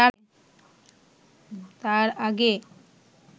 তাঁর আগে